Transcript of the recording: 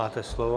Máte slovo.